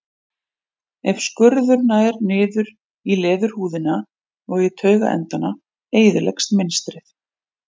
Ef skurður nær niður í leðurhúðina og í taugaendana eyðileggst mynstrið.